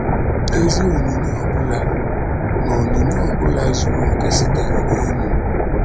“ Ezi onyinye ọ bụla na onyinye ọ bụla zuru okè sitere n’elu ”